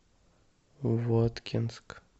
воткинск